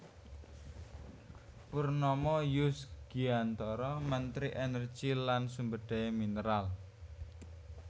Purnomo Yusgiantoro Menteri Energi lan Sumberdaya Mineral